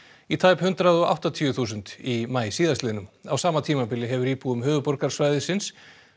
í tæp hundrað og áttatíu þúsund í maí síðastliðnum á sama tíma hefur íbúum höfuðborgarsvæðisins